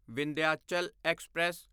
Vindhyachal express